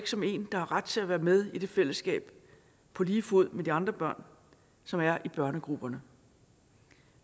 som en der har ret til at være med i det fællesskab på lige fod med de andre børn som er i børnegrupperne